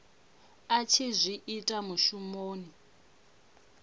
a tshi zwi ita mushumoni